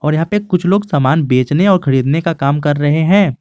यहां पे कुछ लोग सामान बेचने और खरीदने का काम कर रहे हैं।